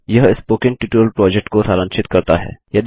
यह spoken tutorial project को सारांशित करता है